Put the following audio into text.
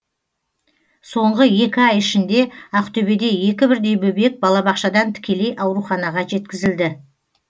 соңғы екі ай ішінде ақтөбеде екі бірдей бөбек балабақшадан тікелей ауруханаға жеткізілді